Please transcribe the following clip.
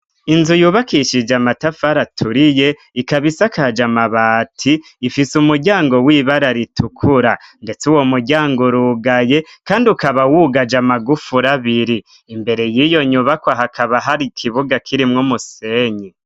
Inzu yubakishije amatafari aturiye ikaba isakaje amabati, ifise umuryango w'ibara ritukura, ndetse uwo muryango urugaye kandi ukaba wugaje amagufuri abiri. Imbere y'iyo nyubakwa hakaba hari ikibuga kirimwo umusenyi.